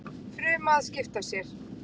Fruma að skipta sér.